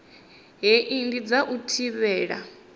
hei ndi dza u thivhela